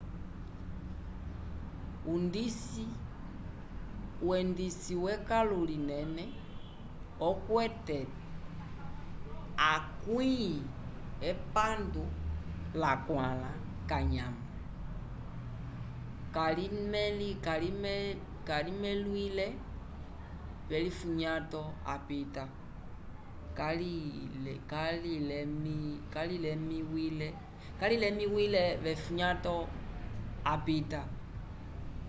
undisi wekãlu linene okwete 64 kanyamo kalilemẽwile v'elifunyato apita